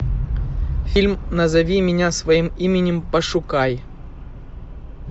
фильм назови меня своим именем пошукай